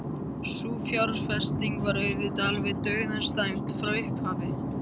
Sú fjárfesting var auðvitað alveg dauðadæmd frá upphafi.